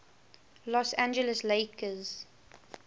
los angeles lakers